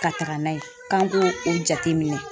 Ka taga n'a ye k'an k'o o jate minɛ.